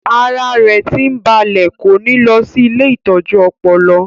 Ara rẹ̀ tí ń balẹ̀ kò ní lọ sí ilée ìtọ́jú ọpọlọ